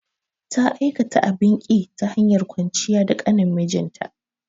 Ta aikata abin ƙi, ta hanyar kwanciya da ƙanin mijinta.